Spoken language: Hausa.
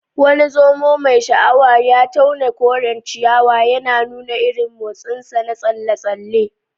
Wani zomo mai sha'awar ya tauna koren ciyawa, yana nuna irin motsinsa na tsalle-tsalle.